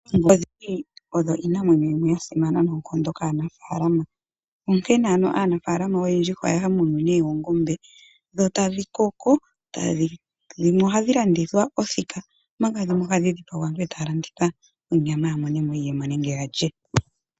Oongombe odho iinamwenyo mbyoka ya simana nonkondo kaanafalama onkene aanafalama oyendji oya ya munu ne oongombe dho tadhi koko. Dhimwe ohadhi landithwa othika nodhimwe ohadhi dhipagwa ndele aantu taya landitha onyama ya monemo iiyemo nenge yalye.